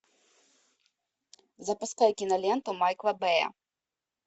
запускай киноленту майкла бэя